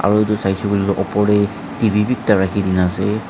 aru edu saishey koilae tu opor tae T_V bi ekta rakhikena ase.